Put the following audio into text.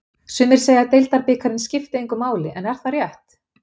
Sumir segja að deildabikarinn skipti engu máli en er það rétt?